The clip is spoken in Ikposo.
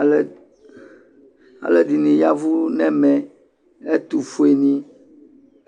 Aluɛ, alede ne yavu nɛmɛ, ɛtofue ne,